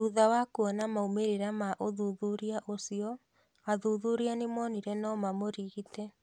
Thutha wa kwona maumĩrĩra ma ũthuthuria ũcio, athuthuria nĩmonire nomamũrigite.